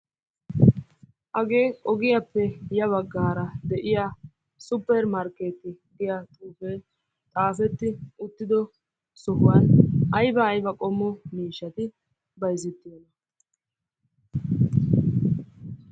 Hagee ogiyappe ya baggaara de'iyaa supper markkeetiya giya xuufee xaafeti uttiddo sohuwan ayba ayba qommo miishshati bayzzettiyonaa?